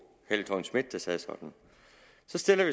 helle thorning schmidt der sagde sådan